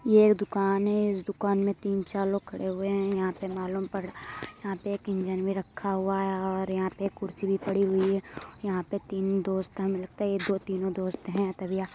ये एक दुकान है। इस दुकान में तीन चार लोग खड़े हुए हैं। यहाँ पे मालूम पड़ रहा यहाँ पे एक इंजन भी रखा हुआ है और यहाँ पे एक कुर्सी भी पड़ी हुई है। यहाँ पे तीन दोस्त हैं। हमें लगता है ये दो तीनों दोस्त हैं।